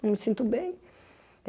Não me sinto bem.